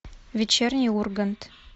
вечерний ургант